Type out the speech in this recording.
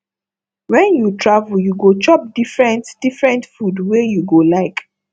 wen you travel you go chop different different food wey you go like